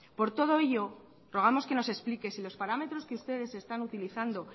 por todo ello rogamos que nos explique si los parámetros que ustedes están utilizando